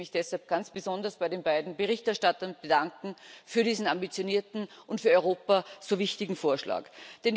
Ich möchte mich deshalb ganz besonders bei den beiden Berichterstattern für diesen ambitionierten und für Europa so wichtigen Vorschlag bedanken.